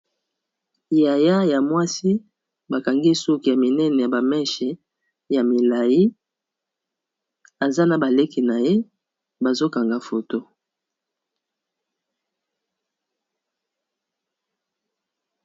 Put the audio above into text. Yaya ya mwasi, ba kangi ye suki ya minene ya ba mèches ya milayi, aza na ba leki na ye, bazo kanga photo .